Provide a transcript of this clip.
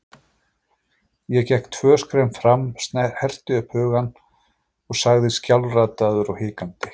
Ég gekk tvö skref fram, herti upp hugann og sagði skjálfraddaður og hikandi